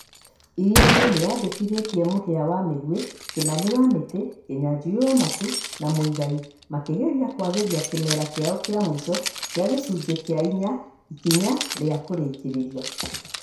Iriainĩ nĩyandĩkithĩtie Mũhĩa wa Mĩgwi, Kimani wa Mĩtĩ, Kĩnyanjui wa Matu na Mũigai makĩgeria kũagĩria kĩmera kĩao kĩa muico kĩa gĩcunjĩ kĩa inya ikinya rĩa kurĩkĩrĩria.